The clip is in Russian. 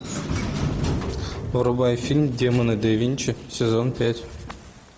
врубай фильм демоны да винчи сезон пять